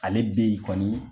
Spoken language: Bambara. Ale be yen kɔni